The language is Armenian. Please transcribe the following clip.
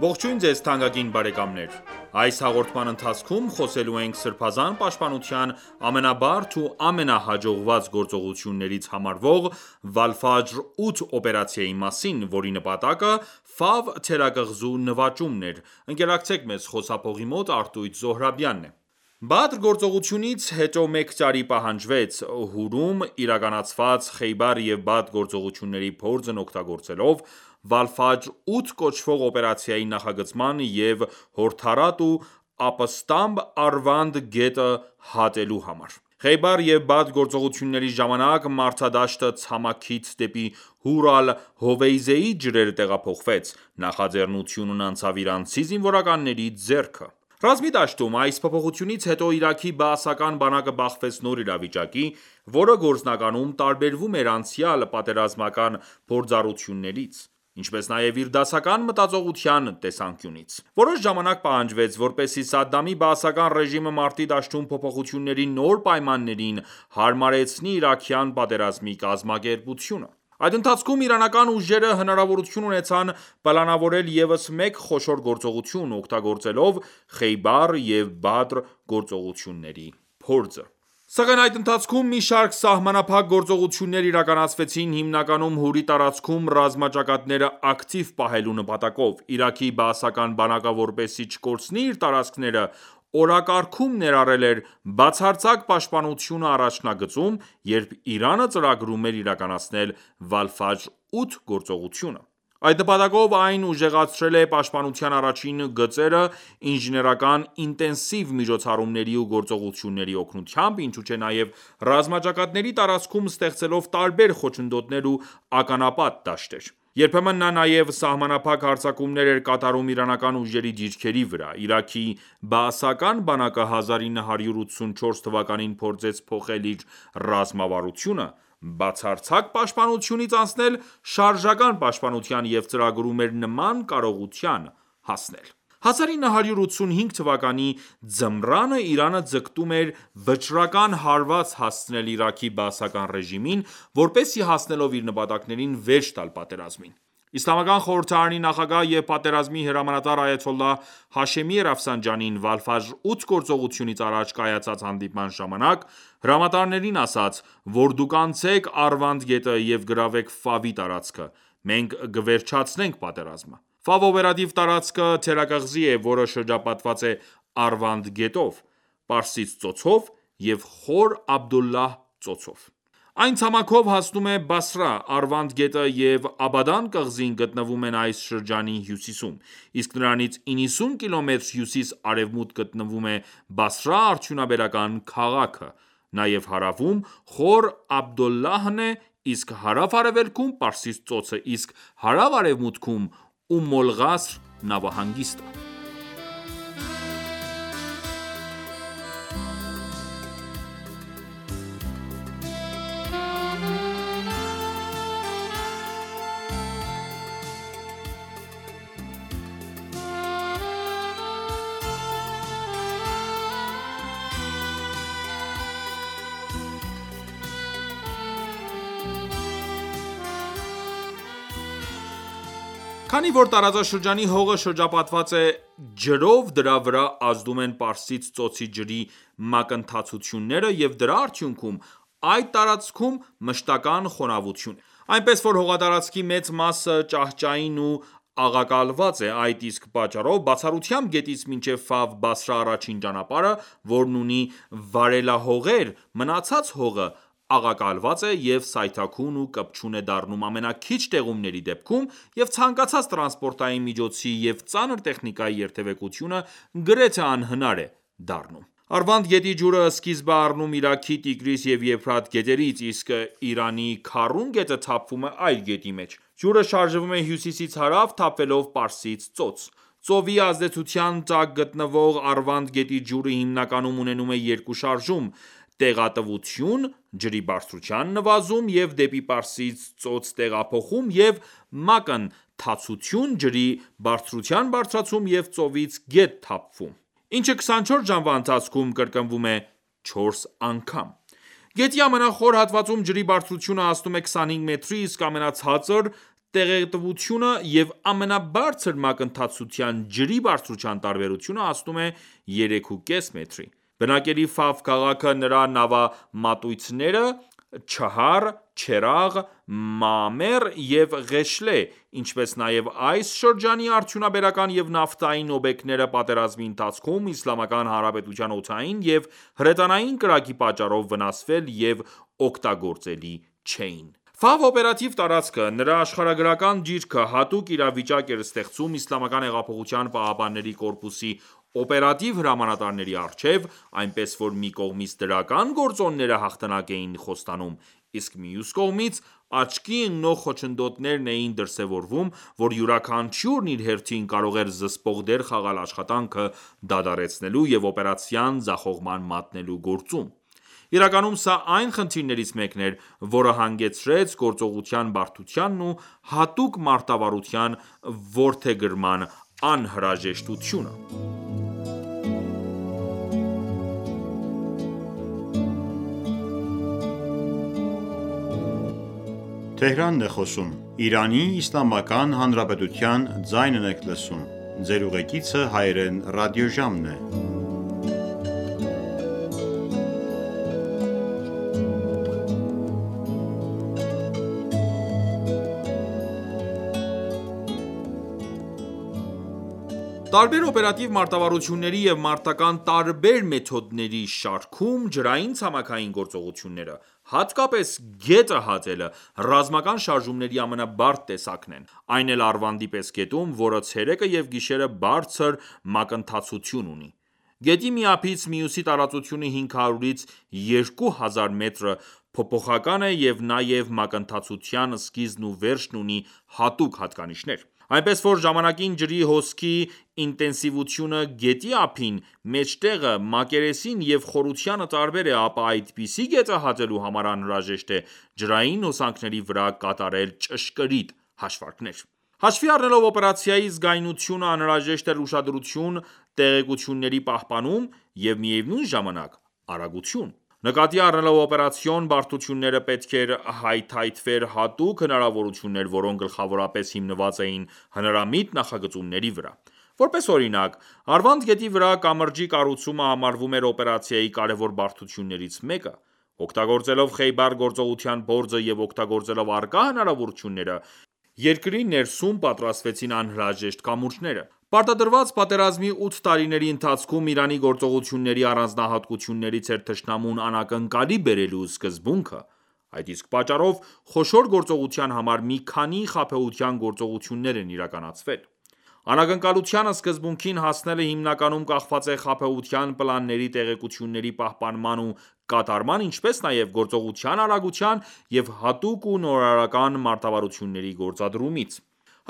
Ողջույն ձեզ թանկագին բարեկամներ: Այս հաղորդման ընթացքում խոսելու ենք Սրբազան պաշտպանության ամենաբարդ ու ամենահաջողված գործողություններից համարվող Վալֆաջր 8 օպերացիայի մասին, որի նպատակը Ֆավ թերակղզու նվաճումն էր: «Բադր» գործողությունից հետո մեկ տարի պահանջվեց, Հուրում իրականացված Խեյբար և Բադր գործողությունների փորձն օգտագործելով, «Վալֆաջր 8» կոչվող օպերացիայի նախագծման և հորդառատ ու ապստամբ Արվանդ գետը հատելու համար: Խեյբար և Բադր գործողությունների ժամանակ մարտադաշտը ցամաքից դեպի Հուր Ալ-Հովեյզեյի ջրեր տեղափոխվեց, նախաձեռնությունն անցավ իրանցի զինվորականների ձեռքը: Ռազմի դաշտում այս փոփոխությունից հետո Իրաքի բաասական բանակը բախվեց նոր իրավիճակի, որը գործնականում տարբերվում էր անցյալ պատերազմական փորձառություններից, ինչպես նաև իր դասական մտածողության տեսանկյունից: Որոշ ժամանակ պահանջվեց, որպեսզի Սադամի բաասական ռեժիմը մարտի դաշտում փոփոխությունների նոր պայմաններին հարմարեցնի իրաքյան պատերազմի կազմակերպությունը: Այդ ընթացքում իրանական ուժերը հնարավորություն ունեցան պլանավորել ևս մեկ խոշոր գործողություն՝ օգտագործելով Խեյբար և Բադր գործողությունների փորձը։ Սակայն այդ ընթացքում մի շարք սահմանափակ գործողություններ իրականացվեցին՝ հիմնականում Հուրի տարածքում ռազմաճակատները ակտիվ պահելու նպատակով։ Իրաքի բաասական բանակը որպեսզի չկորցնի իր տարածքները օրակարգում ներառել էր բացարձակ պաշտպանությունը առաջնագծում, երբ Իրանը ծրագրում էր իրականացնել «Վալֆաջր 8» գործողությունը։ Այդ նպատակով այն ուժեղացրել է պաշտպանության առաջին գծերը ինժեներական ինտենսիվ միջոցառումների ու գործողությունների օգնությամբ ինչու չէ նաև ռազմաճակատների տարածքում ստեղծելով տարբեր խոչընդոտներ ու ականապատ դաշտեր։ Երբեմն նա նաև սահմանափակ հարձակումներ էր կատարում իրանական ուժերի դիրքերի վրա։ Իրաքի բաասական բանակը 1984 թվականին փորձեց փոխել իր ռազմավարությունը՝ բացարձակ պաշտպանությունից անցնել շարժական պաշտպանության և ծրագրում էր նման կարողության հասնել: 1985 թվականի ձմռանը Իրանը ձգտում էր վճռական հարված հասցնել Իրաքի բաասական ռեժիմին, որպեսզի հասնելով իր նպատակներին վերջ տալ պատերազմին: Իսլամական Խորհրդարանի նախագահ և պատերազմի հրամանատար այաթոլլահ Հաշեմի Ռաֆսանջանին «Վալֆաջր 8» գործողությունից առաջ կայացած հանդիպման ժամանակ հրամանատարներին ասաց, որ դուք անցեք Արվանդ գետը և գրավեք Ֆավի տարածքը, մենք կվերջացնենք պատերազմը: Ֆավ օպերատիվ տարածքը թերակղզի է, որը շրջապատված է Արվանդ գետով, Պարսից ծոցով և Խոր Աբդուլլահ ծոցով: Այն ցամաքով հասնում է Բասրա։ Արվանդ գետը և Աբադան կղզին գտնվում են այս շրջանի հյուսիսում, իսկ նրանից 90 կմ հյուսիս-արևմուտք գտնվում է Բասրա արդյունաբերական քաղաքը։ Նաև հարավում Խոր Աբդուլլահն է, իսկ հարավ-արևելքում՝ Պարսից ծոցը, իսկ հարավ-արևմուտքում՝ Ում Ալ-Ղասր նավահանգիստը: Քանի որ տարածաշրջանի հողը շրջապատված է ջրով, դրա վրա ազդում են Պարսից ծոցի ջրի մակընթացությունները և դրա արդյունքում այդ տարածքում մշտական ​​խոնավություն է: Այնպես որ հողատարածքի մեծ մասը ճահճային ու աղակալված է: Այդ իսկ պատճառով, բացառությամբ գետից մինչև Ֆավ-Բասրա առաջին ճանապարհը, որն ունի վարելահողեր, մնացած հողը աղակալված է և սայթաքուն ու կպչուն է դառնում ամենաքիչ տեղումների դեպքում, և ցանկացած տրանսպորտային միջոցի և ծանր տեխնիկայի երթևեկությունը գրեթե անհնար է դառնում։ Արվանդ գետի ջուրը սկիզբ է առնում Իրաքի Տիգրիս և Եփրատ գետերից, իսկ Իրանի Քարուն գետը թափվում է այդ գետի մեջ։ Ջուրը շարժվում է հյուսիսից հարավ թափվելով Պարսից ծոց։ Ծովի ազդեցության տակ գտնվող Արվանդ գետի ջուրը հիմնականում ունենում է երկու շարժում՝ տեղատվություն (ջրի բարձրության նվազում և դեպի Պարսից ծոց տեղափոխում) և մակընթացություն (ջրի բարձրության բարձրացում և ծովից գետ տեղափոխում), ինչը 24 ժամվա ընթացքում կրկնվում է չորս անգամ: Գետի ամենախոր հատվածում ջրի բարձրությունը հասնում է 25 մետրի, իսկ ամենացածր տեղատվության և ամենաբարձր մակընթացության ջրի բարձրության տարբերությունը հասնում է երեքուկես մետրի։ Բնակելի Ֆավ քաղաքը, նրա նավամատույցները (Չհար Չերաղ, Մաամեր և Ղեշլե), ինչպես նաև այս շրջանի արդյունաբերական և նավթային օբյեկտները պատերազմի ընթացքում Իսլամական Հանրապետության օդային և հրետանային կրակի պատճառով վնասվել և օգտագործելի չէին: «Ֆավ» օպերատիվ տարածքը, նրա աշխարհագրական դիրքը հատուկ իրավիճակ էր ստեղծում ԻՀՊԿ-ի օպերատիվ հրամանատարների առջև, այնպես որ մի կողմից դրական գործոնները հաղթանակ էին խոստանում, իսկ մյուս կողմից՝ աչքի ընկնող խոչընդոտներն էին դրսևորվում, որ յուրաքանչյուրն իր հերթին կարող էր զսպող դեր խաղալ աշխատանքը դադարեցնելու և օպերացիան ձախողման մատնելու գործում: Իրականում սա այն խնդիրներից մեկն էր, որը հանգեցրեց գործողության բարդությանն ու հատուկ մարտավարության որդեգրման անհրաժեշտությանը։ Տարբեր օպերատիվ մարտավարությունների և մարտական ​​տարբեր մեթոդների շարքում ջրային-ցամաքային գործողությունները, հատկապես գետը հատելը, ռազմական շարժումների ամենաբարդ տեսակն են՝ այն էլ Արվանդի պես գետում, որը ցերեկը և գիշերը բարձր մակընթացություն ունի: Գետի մի ափիից մյուսի տարածությունը 500-ից 2000 մետրը փոփոխական է և նաև մակընթացության սկիզբն ու վերջն ունի հատուկ հատկանիշներ: Այնպես որ ​​ժամանակին ջրի հոսքի ինտենսիվությունը գետի ափին, մեջտեղը, մակերեսին և խորությանը տարբեր է, ապա այդպիսի գետը հատելու համար անհրաժեշտ է ջրային հոսանքների վրա կատարել ճշգրիտ հաշվարկներ: Հաշվի առնելով օպերացիայի զգայունությունը անհրաժեշտ էր ուշադրություն, տեղեկությունների պահպանում ու միևնույն ժամանակ արագություն: Նկատի առնելով օպերացիոն բարդությունները պետք էր հայթայթվեր հատուկ հնարավորություններ, որոնք գլխավորապես հիմնված էին հնարամիտ նախագծումների վրա: Որպես օրինակ Արվանդ գետի վրա կամրջի կառուցումը համարվում էր օպերացիայի կարևոր բարդություններից մեկը: Օգտագործելով Խեյբար գործողության փորձը և օգտագործելով առկա հնարավորությունները՝ երկիր ներսում պատրաստվեցին անհրաժեշտ կամուրջները։ Պարտադրված պատերազմի ութ տարիների ընթացքում Իրանի գործողությունների առանձնահատկություններից էր թշնամուն անակնկալի բերելու սկզբունքը։ Այդ իսկ պատճառով խոշոր գործողության համար մի քանի խաբեության գործողություններ են իրականացվել։ Անակնկալության սկզբունքին հասնելը հիմնականում կախված է խաբեության պլանների տեղեկությունների պահպանման ու կատարման, ինչպես նաև գործողության արագության և հատուկ ու նորարարական մարտավարությունների գործադրումից։